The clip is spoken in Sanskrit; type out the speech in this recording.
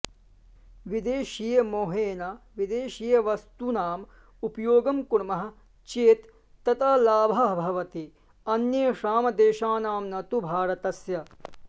विदेशीयमोहेन विदेशीयवस्तूनाम् उपयोगं कुर्मः चेत् ततः लाभः भवति अन्येषां देशानां न तु भारतस्य